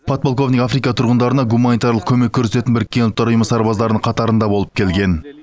подполковник африка тұрғындарына гуманитарлық көмек көрсететін біріккен ұлттар ұйымы сарбаздарының қатарында болып келген